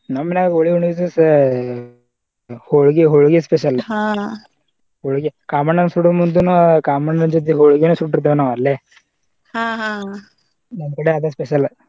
ನಮ್ ಮನ್ಯಾಗ ಹೋಳಿ ಹುಣ್ಣಿವಿ ದಿವಸ ಹೊಳ್ಗಿ ಹೊಳ್ಗಿ special ಹೊಳ್ಗಿ ಕಾಮಣ್ಣನ ಸುಡೋ ಮುಂದನು ಕಾಮಣ್ಣನ ಜೊತೆ ಹೊಳ್ಗಿನ ಸುಟ್ಟಿರ್ತೇವ ನಾವ ಅಲ್ಲೇ ನಮ ಕಡೆ ಅದ special .